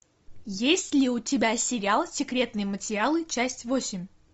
есть ли у тебя сериал секретные материалы часть восемь